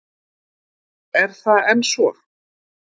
Er það enn svo?